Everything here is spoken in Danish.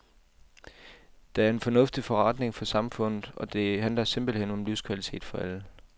Det er en fornuftig forretning for samfundet, og det handler simpelthen om livskvalitet for alle.